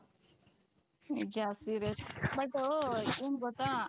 ನಿಜ ಅದು but ಏನ್ ಗೊತ್ತಾ ?